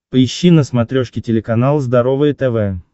поищи на смотрешке телеканал здоровое тв